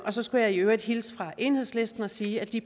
så skulle jeg i øvrigt hilse fra enhedslisten og sige at de